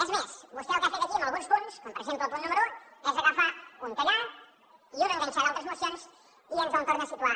és més vostè el que ha fet aquí amb alguns punts com per exemple el punt número un és agafar un tallar i un enganxar d’altres mocions i ens el torna a situar